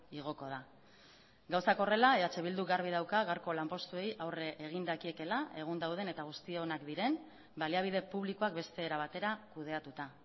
igoko da gauzak horrela eh bildu garbi dauka gaurko lanpostuei aurre egin dakiekeela egun dauden eta guztionak diren baliabide publikoak beste era batera kudeatuta